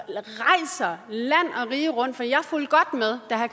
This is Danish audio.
rige rundt